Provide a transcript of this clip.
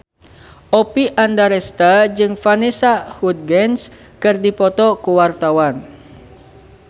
Oppie Andaresta jeung Vanessa Hudgens keur dipoto ku wartawan